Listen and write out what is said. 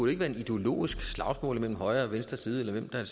ikke være et ideologisk slagsmål mellem højre og venstre side eller hvem der